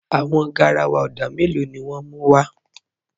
Àwọn gáràwà odà mẹ́lọ̀ ni wọn mú wa?